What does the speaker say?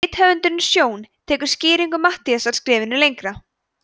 rithöfundurinn sjón tekur skýringu matthíasar skrefinu lengra